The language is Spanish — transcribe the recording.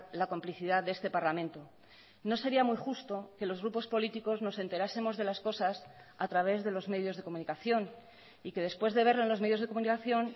la complicidad de este parlamento no sería muy justo que los grupos políticos nos enterásemos de las cosas a través de los medios de comunicación y que después de verlo en los medios de comunicación